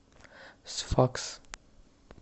сфакс